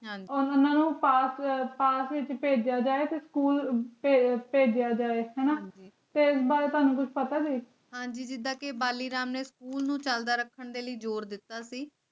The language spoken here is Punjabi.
ਛਾਂਗਣਾ ਉਨਾ ਨੂੰ ਪਾਸੇ ਆਪਾਂ ਫਿਰ ਕਿਤੇ ਜ਼ਿਆਦਾ ਸਕੂਲ ਭੇਜਿਆ ਜਾਵੇ ਹੁਣ ਵੀ ਫਿਰ ਭਗਤਾਂ ਨੂੰ ਗੁਰੂ ਫ਼ਤਹਿ ਆਂ ਜਿੱਦਾ ਕੇ ਬਾਲੀ ਰਾਮ ਨੇ ਸਕੂਲ ਨੂੰ ਚਲਦਾ ਰੱਖਣ ਲਈ ਜੋਰ ਦਿੱਤਾ ਹੈ